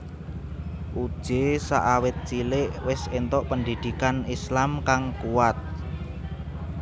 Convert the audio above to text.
Uje sakawit cilik wis entuk pendhidhikan Islam kang kuat